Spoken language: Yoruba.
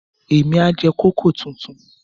Èmi á jẹ kòkó tuntun.